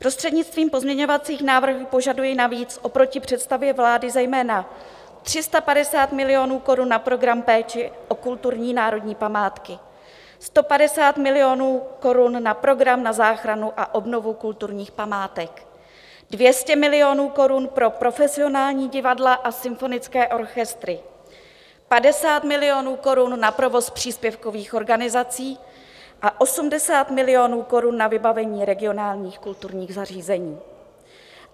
Prostřednictvím pozměňovacích návrhů požaduji navíc oproti představě vlády zejména 350 milionů korun na program péče o kulturní národní památky, 150 milionů korun na program na záchranu a obnovu kulturních památek, 200 milionů korun pro profesionální divadla a symfonické orchestry, 50 milionů korun na provoz příspěvkových organizací a 80 milionů korun na vybavení regionálních kulturních zařízení.